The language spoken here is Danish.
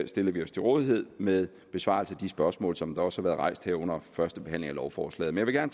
stiller vi os til rådighed med besvarelse af de spørgsmål som der også har været rejst her under første behandling af lovforslaget men jeg